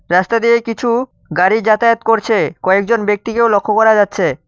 রাস্তা দিয়ে কিছু গাড়ি যাতায়াত করছে কয়েকজন ব্যক্তিকেও লক্ষ্য করা যাচ্ছে।